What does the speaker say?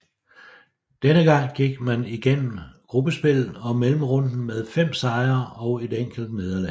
Denne gang gik man igennem gruppespillet og mellemrunden med fem sejre og et enkelt nederlag